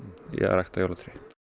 í að rækta jólatré